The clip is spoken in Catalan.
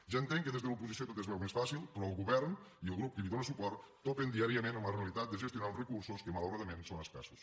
ja entenc que des de l’oposició tot es veu més fàcil però el govern i el grup que li dóna suport topen diàriament amb la realitat de gestionar uns recursos que malauradament són escassos